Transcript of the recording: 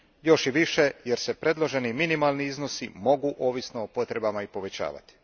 Još i više jer se predloženi minimalni iznosi mogu ovisno o potrebama i povećavati.